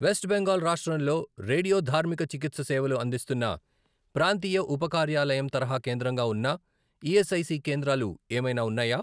West Bengal రాష్ట్రంలో రేడియోధార్మిక చికిత్స సేవలు అందిస్తున్న ప్రాంతీయ ఉపకార్యాలయం తరహా కేంద్రంగా ఉన్న ఈఎస్ఐసి కేంద్రాలు ఏమైనా ఉన్నాయా?